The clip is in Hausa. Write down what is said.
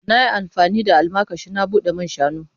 Na yi amfani da almakashi na bude man shanu.